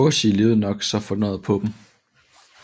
Bosie levede nok så fornøjet på dem